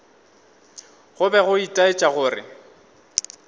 go be go itaetša gore